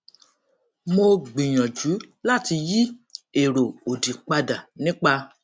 mo gbìyànjú láti yí èrò òdì padà nípa